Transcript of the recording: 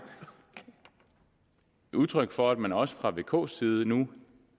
udtryk for at man også fra v og ks side nu